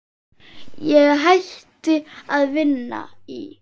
Ég hætti að vinna í